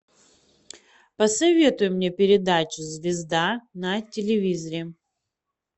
посоветуй мне передачу звезда на телевизоре